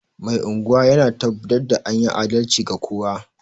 Mai unguwa yana tabbatar da anyi adalci ga kowa